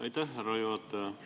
Aitäh, härra juhataja!